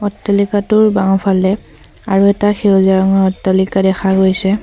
অট্টালিকাটোৰ বাওঁফালে আৰু এটা সেউজীয়া ৰঙৰ অট্টালিকা দেখা গৈছে।